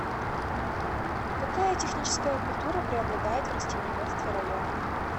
какая техническая культура преобладает в растениеводстве района